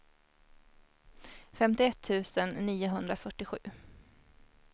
femtioett tusen niohundrafyrtiosju